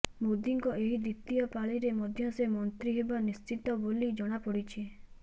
ମୋଦୀଙ୍କ ଏହି ଦ୍ୱିତୀୟ ପାଳିରେ ମଧ୍ୟ ସେ ମନ୍ତ୍ରୀ ହେବା ନିଶ୍ଚିତ ବୋଲି ଜଣାପଡ଼ିଛି